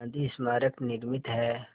गांधी स्मारक निर्मित है